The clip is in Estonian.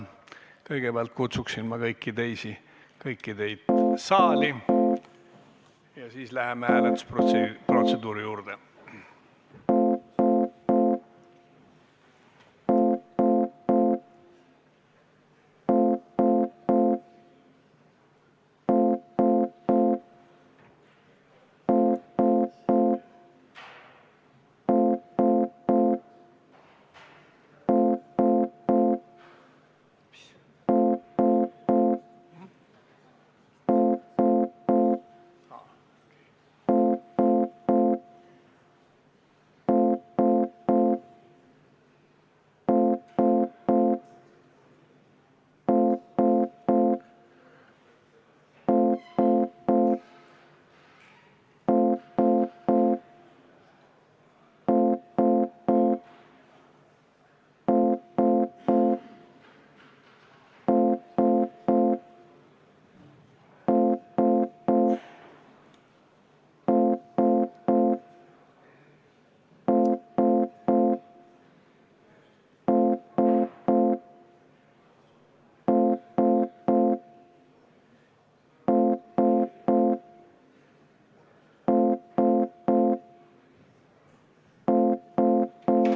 Kõigepealt kutsun ma kõiki saali ja siis läheme hääletusprotsessi juurde.